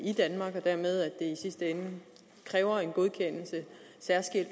i danmark og dermed i sidste ende kræver en særskilt